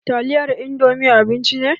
Taliyar indomi abinci ne